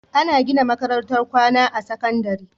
Ana gina makarantar kwAna ta sakandari